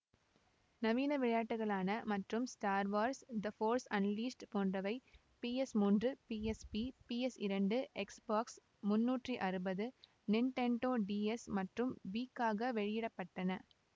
நவீன விளையாட்டுகளான மற்றும் Star Wars the Force Unleashed போன்றவை பிஎஸ் மூன்று பிஎஸ்பி பிஎஸ் இரண்டு எக்ஸ்பாக்ஸ் முன்னூற்றி அறுபது நிண்டெண்டோ டிஎஸ் மற்றும் வீக்காக வெளியிட பட்டன